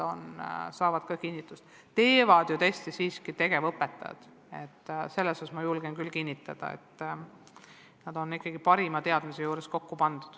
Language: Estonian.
Teste koostavad ju siiski tegevõpetajad ja ma julgen küll kinnitada, et need on ikkagi parima teadmise juures kokku pandud.